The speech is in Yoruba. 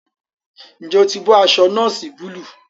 Njé o tí bó aṣọ noosi Búlúù?